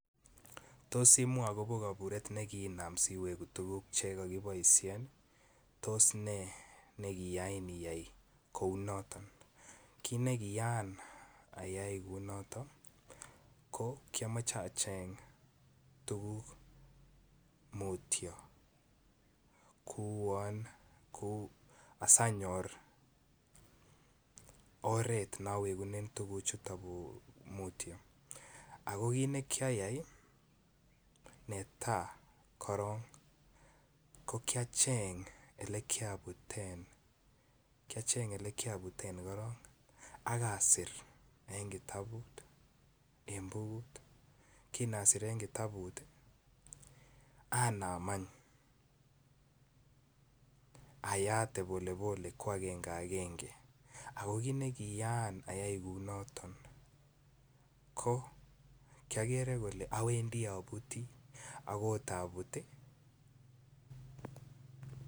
Tos imwaa agobo kaburet ne kiinam si weguu tuguk che kakeboisien? Tos nee ne kiyain iyai kou noton. Kit ne kiyaan ayay kouu noton ii ko kiyomoche acheng tuguk mutyo kouon asanyor oret nonyorunen tuguchuton mutyo, ago kit ne kiyay ii netaa korong ko kiacheng ole kiabuten , kiacheng ole kiabuten korong ak asir en kitabut en bukut, kin asir en kitabut anam any ayaate pole pole ko angenge ngenge ako kit nekiyaan ayay kouu noton ko kiyogere kole owendi obutii ako kot abut ii